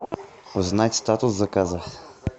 узнать статус заказа